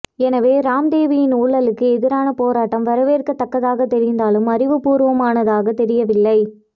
எனவே ராம்தேவின் ஊழலுக்கு எதிரான போராட்டம் வரவேற்க்க தக்கதாக தெரிந்தாலும் அறிவு பூர்வமானதாக தெரிய வில்லை